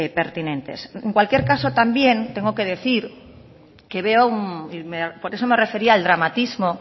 pertinentes en cualquier caso también tengo que decir que veo y por eso me refería al dramatismo